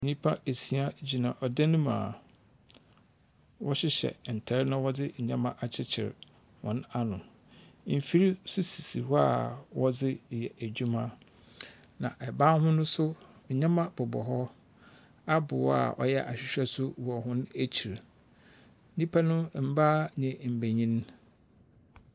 Nnipa esia gyina ɔdan no mu a wɔhyehyɛ ntar na wɔde nnyɛma akyekyer hɔn ano. Mfir nso si hɔ a wɔde yɛ adwuma. Na ban ho nso, nnema bobɔ hɔ. Abobow a ɔyɛ ahwehwɛ nso wɔ hɔn akyir. Nnipa no mbaa na mbenyin.